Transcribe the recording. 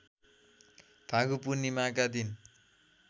फागु पूर्णिमाका दिन